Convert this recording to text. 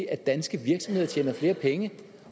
at danske virksomheder tjener flere penge